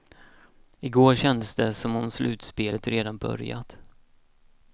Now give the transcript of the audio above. Igår kändes det som om slutspelet redan börjat.